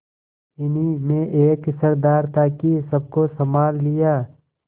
इन्हीं में एक सरदार था कि सबको सँभाल लिया